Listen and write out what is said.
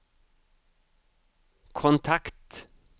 kontakt